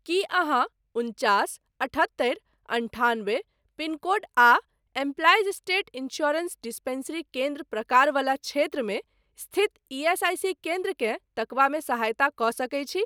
की अहाँ उनचास अठहत्तरि अन्ठान्बे पिनकोड आ एम्प्लाइज स्टेट इन्स्योरेन्स डिस्पैंसरी केन्द्र प्रकार वला क्षेत्रमे स्थित ईएसआईसी केन्द्रकेँ तकबामे सहायता कऽ सकैत छी?